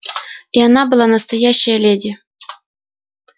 и она была настоящая леди